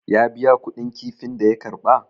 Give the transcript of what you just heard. ya biya kuɗin kifin da ya karba?